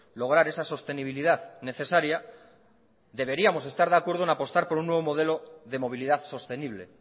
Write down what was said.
lograr esa sostenibilidad necesaria deberíamos estar de acuerdo en apostar por un nuevo modelo de movilidad sostenible